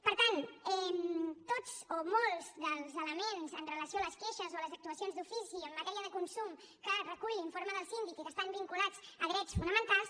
per tant tots o molts dels elements amb relació a les queixes o a les actuacions d’ofici en matèria de consum que recull l’informe del síndic i que estan vinculats a drets fonamentals